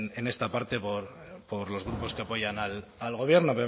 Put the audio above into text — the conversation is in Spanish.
en esta parte por los grupos que apoyan al gobierno